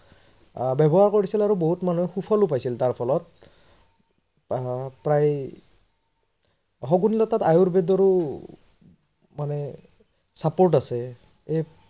আহ ব্যৱহাৰ কৰিছিল আৰু বহুত মানুহে শুফলও পইছিল তাৰ ফলত আহ প্ৰায় শগুনী লতাত আয়ুৰবেদৰো মানে support আছে